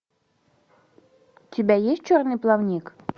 у тебя есть черный плавник